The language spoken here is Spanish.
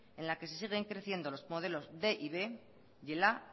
en la que se siguen creciendo los modelos quinientos y b y el a